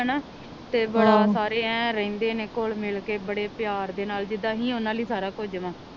ਹਣਾ ਤੇ ਬੜਾ ਸਾਰੇ ਐਨ ਰਹਿੰਦੇ ਨੇ ਖੁਲ ਮਿਲ ਕੇ ਬੜੇ ਪਿਆਰ ਦੇ ਨਾਲ ਜਿੰਦਾ ਅਹੀ ਓਹਨਾ ਲਈ ਸਾਰਾ ਕੁੱਜ ਵਾ